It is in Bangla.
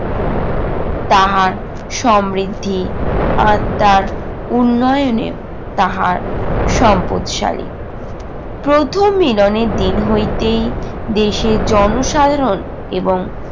তাহার সমৃদ্ধি আর তার উন্নয়নের তাহা সম্পদশালী। প্রথম মিলনের দিন হইতেই দেশের জনসাধারণ এবং